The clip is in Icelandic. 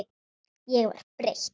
Ég var breytt.